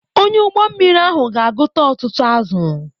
Onye ụgbọ mmiri ahụ ga akụta ọtụtụ azụ̀.